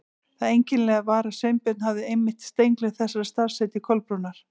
Það einkennilega var að Sveinbjörn hafði einmitt steingleymt þessu starfsheiti Kolbrúnar.